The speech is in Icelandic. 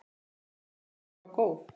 En ferðin var góð.